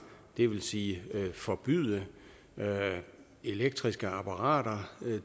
det vil sige forbyde elektriske apparater